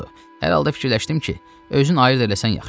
Hər halda fikirləşdim ki, özün ayırd eləsən yaxşıdır.